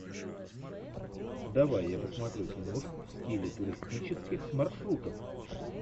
давай я посмотрю киношку в стиле туристических маршрутов